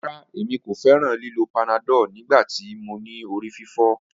Rara, Emi ko fẹran lilo panadol nigbati mo ni orififo.